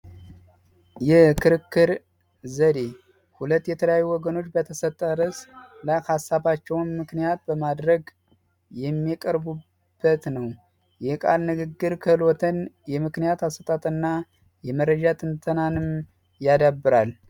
የክርክር ዘዴ ዎች የተለያዩ ወገኖች በተሰጠ ድረ ሃሳባቸውን ምክንያት በማድረግ የሚቀርቡበት ነው ንግግር ክሎትን ምክንያትና ትንተናንም ያዳብራል